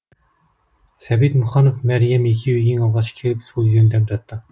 сәбит мұқанов мәриям екеуі ең алғаш келіп сол үйден дәм татты